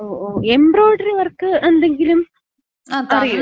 ഓ ഓ. Embroidery work എന്തെങ്കിലും അറിയോ?